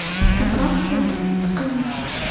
пропавший отряд покажи